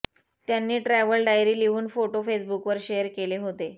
त्यांनी travel diary लिहून photo फेसबुकवर शेअर केले होते